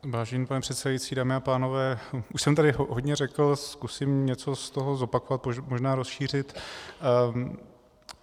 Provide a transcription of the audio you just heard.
Vážený pane předsedající, dámy a pánové, už jsem tady hodně řekl, zkusím něco z toho zopakovat, možná rozšířit.